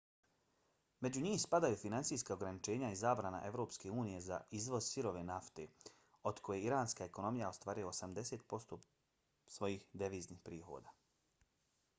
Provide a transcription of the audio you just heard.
među njih spadaju financijska ograničenja i zabrana evropske unije za izvoz sirove nafte od koje iranska ekonomija ostvaruje 80% svojih deviznih prihoda